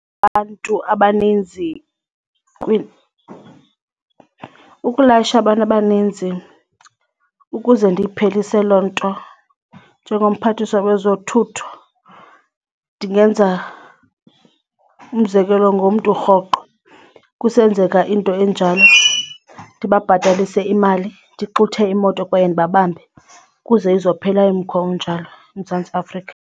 Abantu abaninzi ukulayisha abantu abaninzi ukuze ndikuphelise loo nto njengomphathiswa wezothutho ndingenza umzekelo ngomntu rhoqo kusenzeka into enjalo ndibabhatalise imali ndixuthe imoto kwaye ndibabambe kuze izophela umkhwa onjalo eMzantsi Afrika.